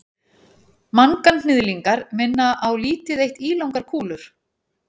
manganhnyðlingar minna á lítið eitt ílangar kúlur